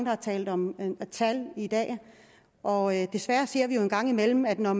har talt om tal i dag og desværre ser vi jo en gang imellem at når